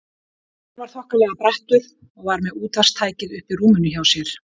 Hann var þokkalega brattur og var með útvarpstækið uppi í rúminu hjá sér.